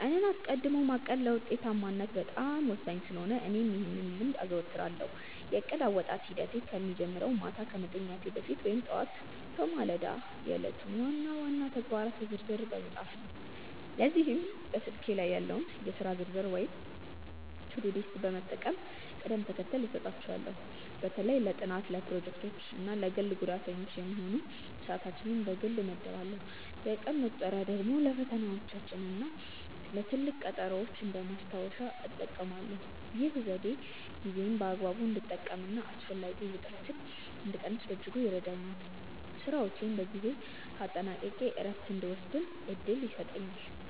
ቀንን አስቀድሞ ማቀድ ለውጤታማነት በጣም ወሳኝ ስለሆነ እኔም ይህን ልምድ አዘወትራለሁ። የእቅድ አወጣጥ ሂደቴ የሚጀምረው ማታ ከመተኛቴ በፊት ወይም ጠዋት በማለዳ የዕለቱን ዋና ዋና ተግባራት በዝርዝር በመጻፍ ነው። ለዚህም በስልኬ ላይ ያለውን የሥራ ዝርዝር ወይም ቱዱ ሊስት በመጠቀም ቅደም ተከተል እሰጣቸዋለሁ። በተለይ ለጥናት፣ ለፕሮጀክቶች እና ለግል ጉዳዮች የሚሆኑ ሰዓታትን በግልጽ እመድባለሁ። የቀን መቁጠሪያ ደግሞ ለፈተናዎችና ለትልቅ ቀጠሮዎች እንደ ማስታወሻ እጠቀማለሁ። ይህ ዘዴ ጊዜዬን በአግባቡ እንድጠቀምና አላስፈላጊ ውጥረትን እንድቀንስ በእጅጉ ይረዳኛል። ስራዎቼን በጊዜ አጠናቅቄ እረፍት እንድወስድም እድል ይሰጠኛል።